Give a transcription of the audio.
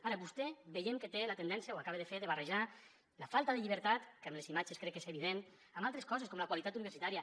ara vostè veiem que té la tendència ho acaba de fer de barrejar la falta de llibertat que amb les imatges crec que és evident amb altres coses com la qualitat universitària